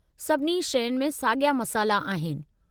सभिनी शयुनि में साॻिया मसाला आहिनि।